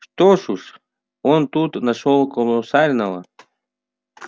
что уж он тут нашёл колоссального